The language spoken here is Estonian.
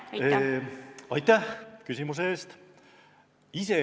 Aitäh küsimuse eest!